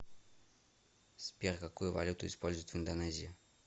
сбер какую валюту используют в индонезии